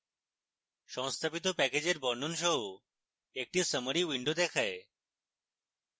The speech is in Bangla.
সংস্থাপিত প্যাকেজের বর্ণন সহ একটি summary window দেখায়